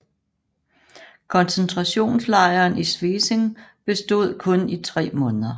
Koncentrationslejren i Svesing bestod kun i tre måneder